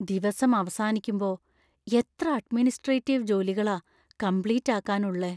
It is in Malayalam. ദിവസം അവസാനിക്കുമ്പോ എത്ര അഡ്മിനിസ്‌ട്രേറ്റീവ് ജോലികളാ കംപ്ലീറ്റ്‌ ആക്കാന്‍ ഉള്ളെ.